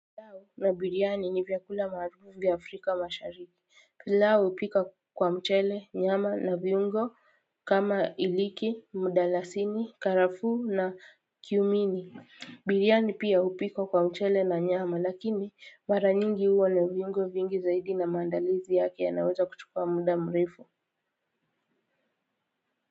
Na biryani ni vyakula maarufu vya Afrika mashariki pilau hupika kwa mchele nyama na viungo kama iliki mdalasini karafuu na kiumini. Biryani pia hupikwa kwa mchele na nyama lakini mara nyingi huwa na viungo vingi zaidi na maandalizi yake yanaweza kuchukua muda mrefu.